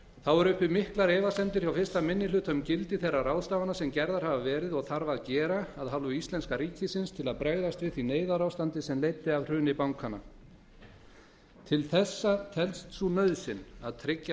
þá eru uppi miklar efasemdir hjá fyrsti minni hluta um gildi þeirra ráðstafana sem gerðar hafa verið og þarf að gera af hálfu íslenska ríkisins til að bregðast við því neyðarástandi sem leiddi af hruni bankanna til þessa telst sú nauðsyn að tryggja